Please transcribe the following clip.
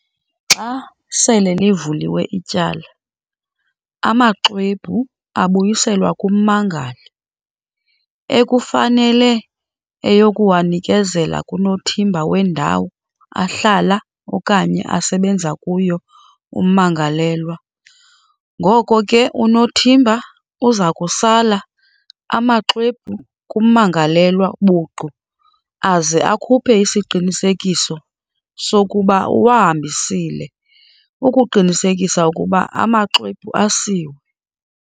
Xa sele livuliwe ityala, amaxwebhu abuyiselwa kummangali, ekufanele eyokuwanikezela kunothimba wendawo ahlala okanye asebenza kuyo ummangalelwa."Ngoko ke unothimba uza kusala amaxwebhu kummangalelwa buqu aze akhuphe isiqinisekiso sokuba uwahambisile, ukuqinisekisa ukuba amaxwebhu asiwe."